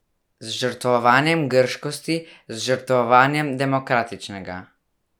Z žrtvovanjem grškosti, z žrtvovanjem demokratičnega.